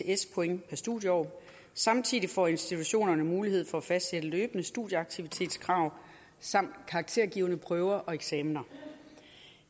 ects point per studieår samtidig får institutionerne mulighed for at fastsætte løbende studieaktivitetskrav samt karaktergivende prøver og eksamener